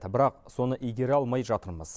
бірақ соны игере алмай жатырмыз